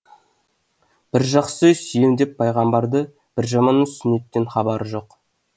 бір жақсысы сүйем деп пайғамбарды бір жаманы сүннеттен хабары жоқ